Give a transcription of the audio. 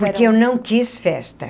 Porque eu não quis festa.